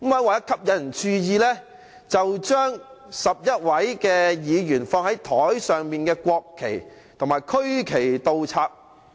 為了吸引注意，他便把11位議員放在桌子上的國旗和區旗倒插。